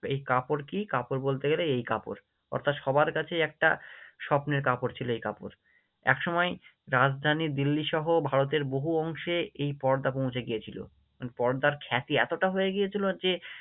এই কাপড় কি? কাপড় বলতে গেলে এই কাপড় অর্থাৎ সবার কাছেই একটা স্বপ্নের কাপড় ছিল এই কাপড়, এক সময় রাজধানী দিল্লী সহ ভারতের বহু অংশে এই পর্দা পৌঁছে গিয়েছিলো, মানে পর্দার খ্যাতি এতটা হয়ে গিয়েছিলো যে